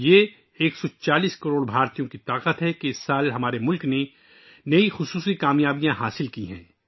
یہ 140 کروڑ ہندوستانیوں کی طاقت کی وجہ سے ہے کہ اس سال ہمارے ملک نے بہت سی خاص کامیابیاں حاصل کی ہیں